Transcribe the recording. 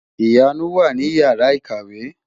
Ìyanu wà ní Ìyàrá-ìkàwé.